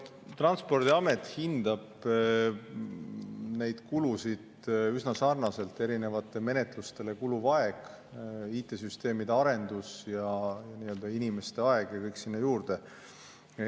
Transpordiamet hindab neid kulusid üsna sarnaselt: erinevatele menetlustele kuluv aeg, IT‑süsteemide arendus, inimeste aeg ja kõik sinna juurde.